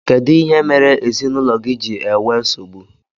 Kedụ ihe mere ezinaụlọ gị ji ewee nsogbu?